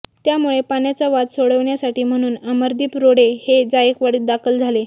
त्यामुळे पाण्याचा वाद सोडविण्यासाठी म्हणून अमरदीप रोडे हे जायकवाडीत दाखल झाले